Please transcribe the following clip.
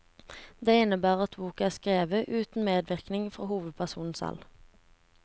Det innebærer at boken er skrevet uten medvirkning fra hovedpersonen selv.